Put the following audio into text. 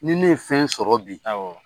Ni ne ye fɛn sɔrɔ bi, awɔ.